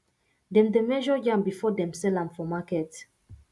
dem dey measure yam before them sell am for market